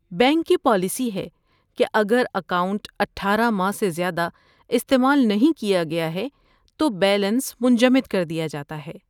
bank کی policy ہے کہ اگر اکاؤنٹ اٹھارہ ماہ سے زیادہ استعمال نہیں کیا گیا ہے تو بیلنس منجمد کر دیا جاتا ہے